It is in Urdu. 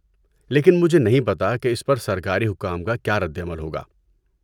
لیکن مجھے نہیں پتہ کہ اس پر سرکاری حکام کا کیا رد عمل ہوگا۔